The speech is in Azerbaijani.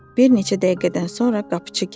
Bir neçə dəqiqədən sonra qapıçı gəldi.